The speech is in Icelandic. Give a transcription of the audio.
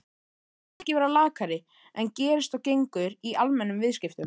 ekki vera lakari en gerist og gengur í almennum viðskiptum.